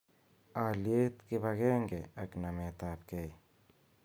Aliet ,kipagenge ak namet ab gei